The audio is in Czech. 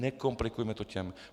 Nekomplikujme to těm.